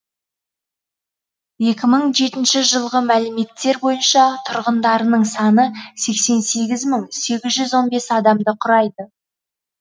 екі мың жетінші жылғы мәліметтер бойынша тұрғындарының саны сексен сегіз мың сегіз жүз он бес адамды құрайды